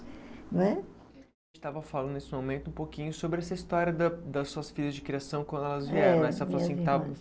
Né? A gente estava falando nesse momento um pouquinho sobre essa história da das suas filhas de criação quando elas